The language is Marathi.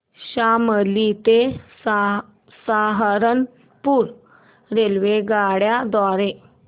शामली ते सहारनपुर रेल्वेगाड्यां द्वारे